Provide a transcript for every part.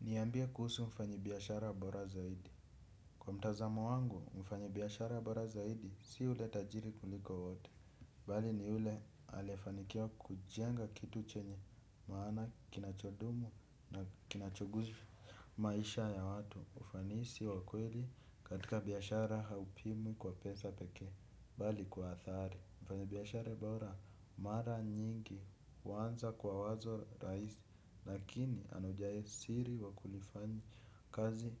Niambie kuhusu wafanyibiashara bora zaidi. Kwa mtazamo wangu, mfanyibiashara bora zaidi si ule tajiri kuliko wote. Mbali ni yule aliyefanikiwa kujenga kitu chenye maana kinachodumu na kinachoguza maisha ya watu. Ufanisi wa kweli katika biashara haupimi kwa pesa pekee. Mbali kwa hadhari. Mfanyibiashara bora mara nyingi huanza kwa wazo rahisi, lakini anaijua siri wakulifanyi kazi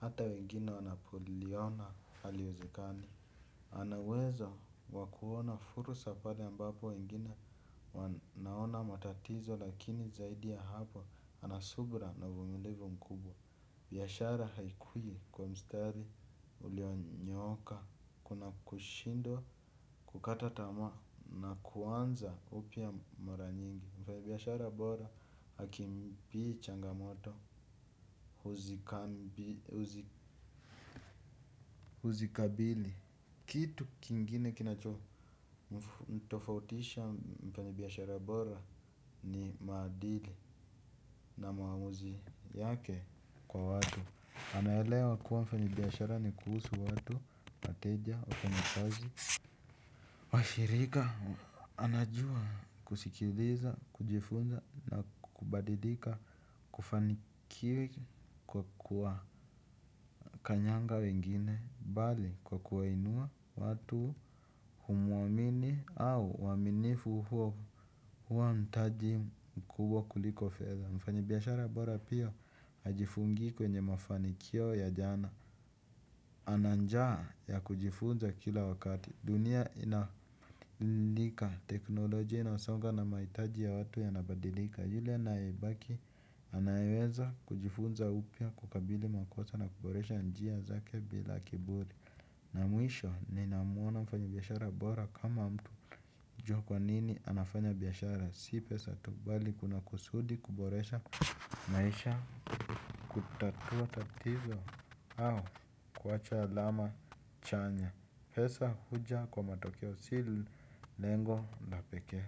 hata wengine wanapoliona haliwezekani. Ana uwezo wa kuona fursa pale ambapo wengine wanaona matatizo lakini zaidi ya hapo ana subira na uvumilivu mkubwa. Biashara haikui kwa mstari ulionyooka, kuna kushindwa, kukata tamaa na kuanza upya mara nyingi. Mfanyi biashara bora hakimbii changamoto, huzikabili. Kitu kingine kinachomtofautisha mfanyibiashara bora ni maadili na maamuzi yake kwa watu. Anaelewa kuwa mfanyibiashara ni kuhusu watu, wateja, wafanyikazi, washirika, anajua kusikiliza, kujifunza na kubadilika. Kufanikiwa kwa kuwanyanga wengine, mbali kwa kuwainua watu humuamini au uaminifu huo huwa mtaji mkubwa kuliko fedha. Mfanyibiashara bora pia hajifungii kwenye mafanikio ya jana. Ana njaa ya kujifunza kila wakati. Dunia inabadilika, teknolojia inasonga na mahitaji ya watu yanabadilika, yule anayebaki anaweza kujifunza upya kukabili makosa na kuboresha njia zake bila kiburi. Na mwisho, ninamuona mfanyibiashara bora kama mtu hujua kwa nini anafanya biashara si pesa tu, mbali kuna kusudi kuboresha maisha kutatua tatizo au kuacha alama chanya pesa huja kwa matokeo si lengo la pekee.